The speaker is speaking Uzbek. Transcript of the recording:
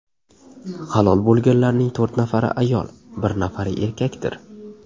Halok bo‘lganlarning to‘rt nafari ayol, bir nafari erkakdir.